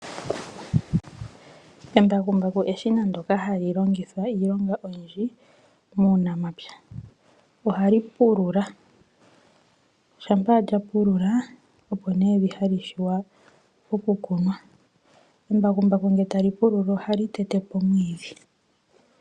Embakubaku eshina ndyoka hali longithwa iilonga oyindji muunamapya. Ohali pulula, shampa lya pulula opo evi hali vule oku kunwa. Embakubaku ngele tali pulula ohali tete po omwiidhi.